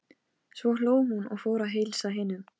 Svo hló hún og fór að heilsa hinum.